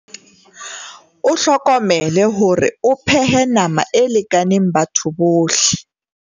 O hlokomele hore o phehe nama e lekaneng batho bohle.